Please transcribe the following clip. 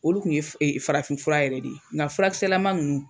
Olu kun ye e farafin fura yɛrɛ de ye nga furakisɛlama nunnu